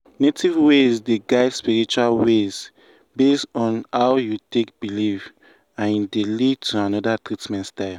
native ways dey guide spiritual ways based on how you take belief and e dey lead to another treatment style.